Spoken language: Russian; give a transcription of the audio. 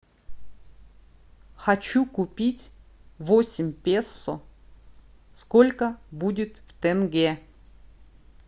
хочу купить восемь песо сколько будет в тенге